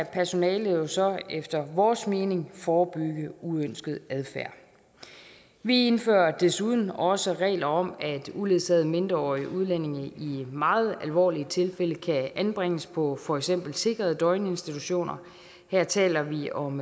personalet så efter vores mening forebygge uønsket adfærd vi indfører desuden også regler om at uledsagede mindreårige udlændinge i meget alvorlige tilfælde kan anbringes på for eksempel sikrede døgninstitutioner her taler vi om